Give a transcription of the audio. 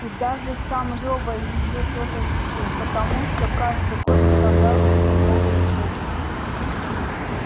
и даже сам лёва её тоже чтил потому что каждый год вставлял себе новые зубы